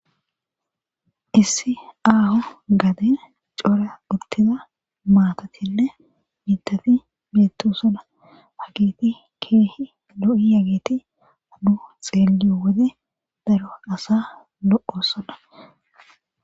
issi aaho gade cora uttiza maatatinne miitafi beettosona hagiti keehi lo7i yagiti hadduh xeeli wode daro asa lo7osada